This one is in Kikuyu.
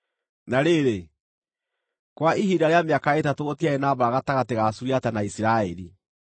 Na rĩrĩ, kwa ihinda rĩa mĩaka ĩtatũ gũtiarĩ na mbaara gatagatĩ ga Suriata na Isiraeli.